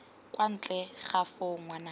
kwa ntle ga foo ngwanake